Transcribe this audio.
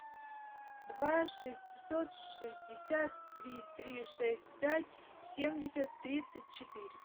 два шестьсот шестьдесят три три шесть пять семьдесят тридцать четыре